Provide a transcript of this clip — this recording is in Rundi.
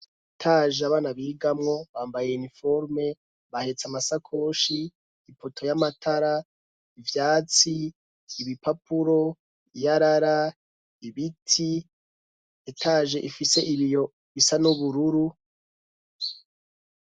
Etaje abana bihigamwo bambaye iniforme bahetse amasakoshi ipoto y'amatara ivyatsi, ibipapuro ,iyarara ibiti ietaje ifise ibiyo bisa n'ubururu.